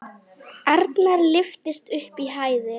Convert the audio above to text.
Arnar lyftist upp í hæðir.